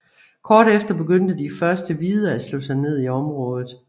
Kort efter begyndte de første hvide at slå sig ned i området